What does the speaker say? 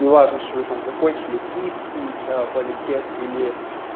неважно что вы там закончили киевский политех или